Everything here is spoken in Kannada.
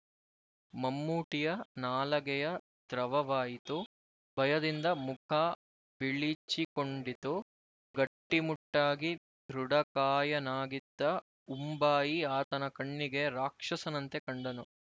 ಮಮ್ಮೂಟಿಯ ನಾಲಗೆಯ ದ್ರವವಾಯಿತು ಭಯದಿಂದ ಮುಖ ಬಿಳಿಚಿಕೊಂಡಿತು ಗಟ್ಟಿ ಮುಟ್ಟಾಗಿ ದೃಢಕಾಯನಾಗಿದ್ದ ಉಂಬಾಯಿ ಆತನ ಕಣ್ಣಿಗೆ ರಾಕ್ಷಸನಂತೆ ಕಂಡನು